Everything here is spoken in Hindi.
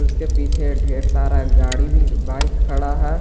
इसके पीछे ढेर सारा गाड़ी भी बाइक खड़ा है।